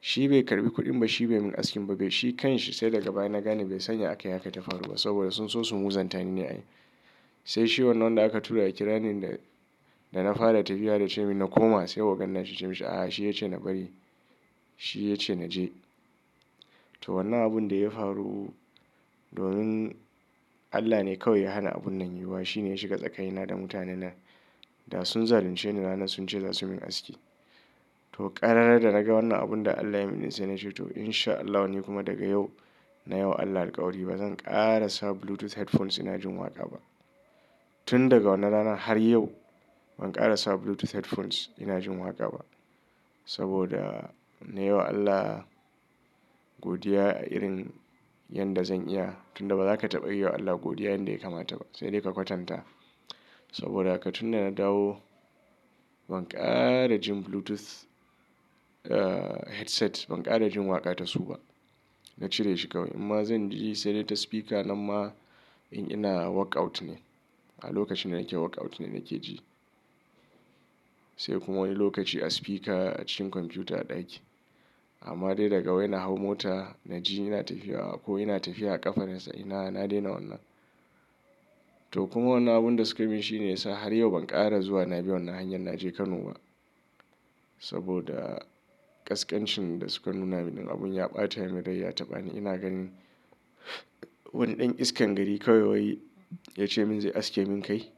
Shi bai karɓi kuɗin ba shi bai mun askin ba, kai shi kanshi sai daga baya na gane bai sanya a kai haka ta faru ba, saboda sun so su muzanta ni ne ai. Sai shi wannan da aka tura ya kira ni da, da na fara tafiya da ce min na koma, sai ogan nashi yace mishi a'a shi ya ce na bari. Shi ya ce na je. To wannan abun da ya faru, domin Allah ne kawai ya hana abun nan yiwa. Shi ne ya shiga tsakanina da mutanen nan, da sun zalunce ni ranan sun ce za su min aski. To ƙarara da naga wannan abun da Allah ya yi mini sai na ce to in sha Allah wani kuma daga yau na yi wa Allah alkawari bazan ƙara sa Bluetooth headphones ina jin waƙa ba. Tun daga wannan rana har yau ban ƙara sa Bluetooth headphones ina jin waƙa ba. Saboda na yi wa Allah godiya a irin yanda zan iya. Tun da ba za ka taɓa yi wa Allah godiya yanda ya kamata ba. Sai dai ka kwatanta. Saboda haka tun da na dawo ban ƙara jin Bluetooth, ah, headset ban ƙara jin waƙa ta su ba. Na cire shi kawai. Umma zan ji sai dai ta sifika, namma in ina workout ne. A lokacin da nake workout ne nake ji. Sai kuma wani lokaci a spika a cikin kwamfuta a ɗaki. Amma dai daga wai na hau mota, na ji ina tafiya ko ina tafiya a ƙafa nasan ina, na daina wannan. To kuma wannan abun da suka yi min shi ne ya sa har yau ban ƙara zuwa na bi wannan hanyar na je Kano ba. Saboda ƙasƙancin da suka nuna min ɗin, abin ya ɓatan min rai ya taɓani. Ina gani wani ɗan iskan gari kawai wai, yace min "Zai aske min kai."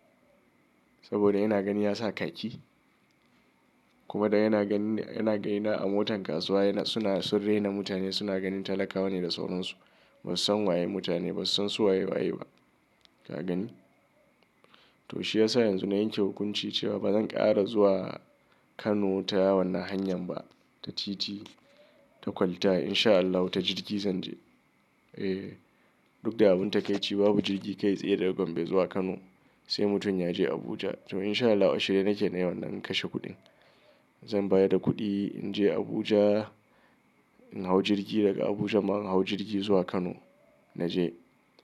Saboda yana gani ya sa kaki. Kuma dan yana ganin, yana gaina a motan kasuwa suna, sun rena mutane suna ganin talakawa ne da sauransu. Ba su san waye mutane, ba su san su waye waye ba, ka gani? To shi ya sa yanzu na yanke hukunci cewa bazan ƙara zuwa Kano ta wannan hanyar ba. Ta titi, ta kwalta in sha Allahu ta jirgi zan je. Eh. Duk da abun takaici babu jirgi kai tsaye daga Gombe zuwa Kano. Sai mutum ya je Abuja. To in sha Allahu ashirye nake nayi wannan in kashe kuɗin. Zan bayar da kuɗi in je Abuja, in hau jirgi daga Abuja ma in hau jirgi zuwa Kano na je.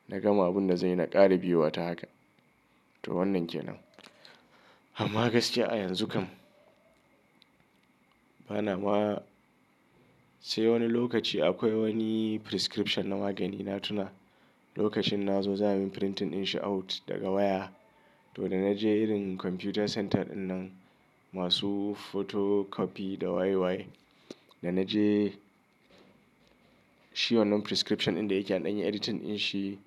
Na gama abun da zan yi na ƙara biyo wa ta haka. To wannan ke nan. Amma gaskiya a yanzu kam bana ma sai wani lokaci akwai wani prescription na magani na tuna. Lokacin na zo za a min printing in shi out daga waya. To da na je irin kwamfuta center ɗinnan masu photocopy da waye waye. Da na je shi wannan prescription ɗin da yake an ɗan yi editing in shi.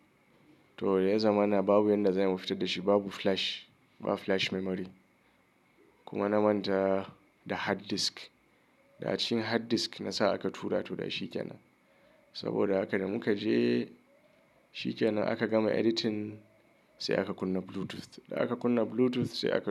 To da ya zamana babu yanda za ai mu fitad da shi, babu flash. Ba flash memory. Kuma na manta da hard disk. Da a cikin hard disk na sa aka tura toh da shi ke nan. Saboda haka da muka je shi kenan aka gama editing sai aka kunna Bluetooth. Da aka kunna Bluetooth sai aka.